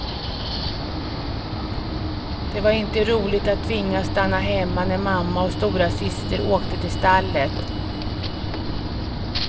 Det var inte roligt att tvingas stanna hemma när mamma och storasyster åkte till stallet.